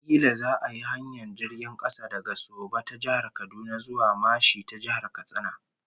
Kila za'a yi hanyar jirgin kasa daga Soba ta Jihar Kaduna zuwa Mashi ta Jihar Katsina